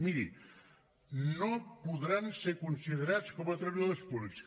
miri no podran ser considerats com a treballadors públics